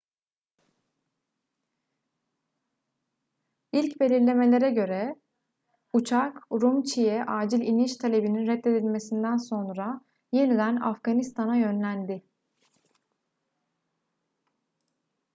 i̇lk belirlemelere göre uçak urumçi'ye acil iniş talebinin reddedilmesinden sonra yeniden afganistan'a yönlendi